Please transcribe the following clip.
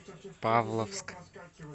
павловск